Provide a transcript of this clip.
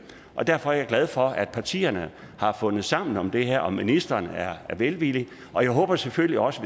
og derfor er jeg glad for at partierne har fundet sammen om det her og at ministeren er velvillig og jeg håber selvfølgelig også